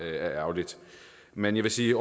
ærgerligt men jeg vil sige